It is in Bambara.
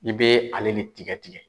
N be ale de tikɛ tikɛ.